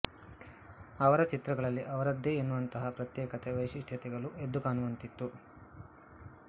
ಅವರ ಚಿತ್ರಗಳಲ್ಲಿ ಅವರದ್ದೇ ಎನ್ನುವಂತಹ ಪ್ರತ್ಯೇಕತೆ ವೈಶಿಷ್ಟ್ಯತೆಗಳು ಎದ್ದು ಕಾಣುವಂತಿತ್ತು